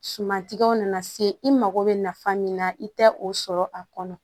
Sumantigɛw nana se i mago bɛ nafa min na i tɛ o sɔrɔ a kɔnɔ